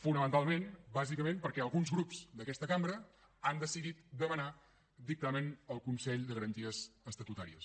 fonamentalment bàsicament perquè alguns grups d’aquesta cambra han decidit demanar dictamen al consell de garanties estatutàries